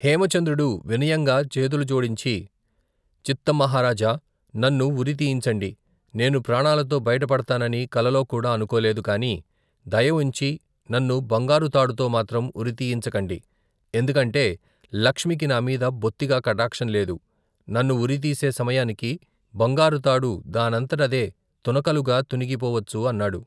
హేమచంద్రుడు వినయంగా చేతులు జోడించి, చిత్తం మహారాజా నన్ను ఉరి తీయించండి నేను ప్రాణాలతో బయట పడతానని, కలలోకూడా అనుకోలేదు కాని, దయ ఉంచి నన్ను బంగారు తాడుతో మాత్రం ఉరితీయించకండి ఎందుకంటే లక్ష్మికి నామీద బొత్తిగా కటాక్షం లేదు, నన్ను ఉరితీసే సమయానికి బంగారు తాడు దానంతట అదే తునకలుగా తునిగి పోవచ్చు అన్నాడు.